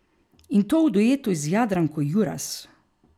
In to v duetu z Jadranko Juras.